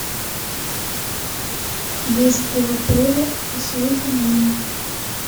есть ли в отеле услуги няни